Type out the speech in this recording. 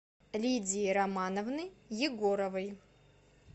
лидии романовны егоровой